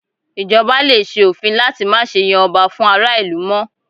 Ì̀jọba lè ṣe òfin láti má ṣe yan ọba fún ará ìlú mọ́